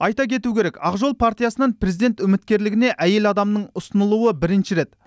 айта кету керек ақ жол партиясынан президент үміткерлігіне әйел адамның ұсынылуы бірінші рет